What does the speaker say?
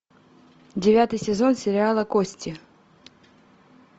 девятый сезон сериала кости